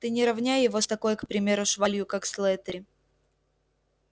ты не равняй его с такой к примеру швалью как слэттери